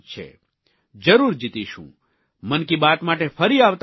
જરૂર જીતીશું મન કી બાત માટે ફરી આવતા મહિને મળીશું